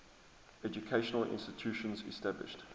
educational institutions established